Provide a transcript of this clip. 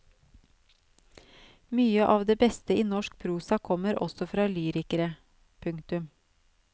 Mye av det beste i norsk prosa kommer også fra lyrikere. punktum